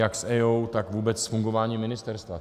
Jak s EIA, tak vůbec s fungováním ministerstva.